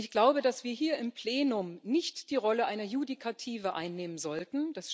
Und ich glaube, dass wir hier im Plenum nicht die Rolle einer Judikative einnehmen sollten